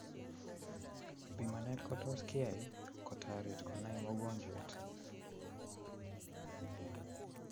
Pimanet ko tos kiyai kotarit konai mogonjwet